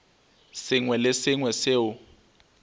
sengwe le se sengwe seo